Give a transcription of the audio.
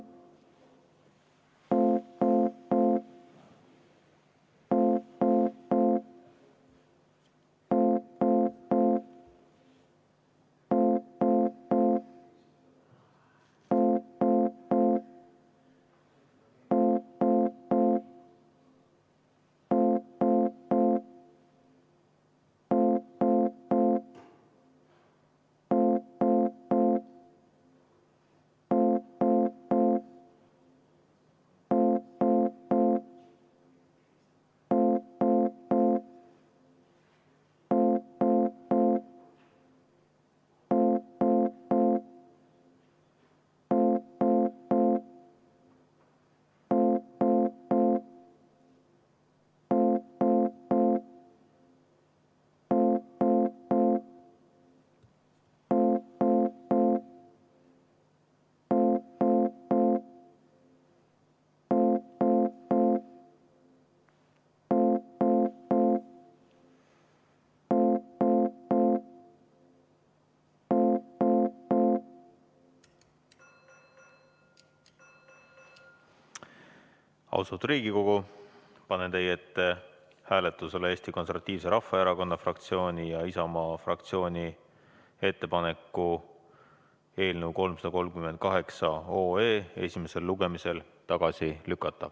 Austatud Riigikogu, panen teie ette hääletusele Eesti Konservatiivse Rahvaerakonna fraktsiooni ja Isamaa fraktsiooni ettepaneku eelnõu 338 esimesel lugemisel tagasi lükata.